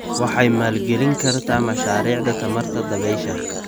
Waxay maalgelin kartaa mashaariicda tamarta dabaysha.